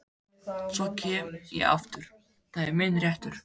Svo kem ég aftur, það er minn réttur.